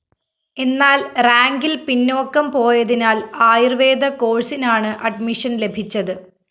എന്നാല്‍ റാങ്കില്‍ പിന്നോക്കം പോയതിനാല്‍ ആയുര്‍വേദ കോഴ്‌സിനാണ് അഡ്മിഷൻ ലഭിച്ചത്